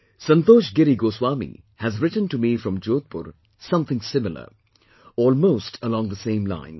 Santosh Giri Goswami has written to me from Jodhpur something similar, almost along the same lines